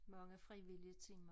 Mange frivillige timer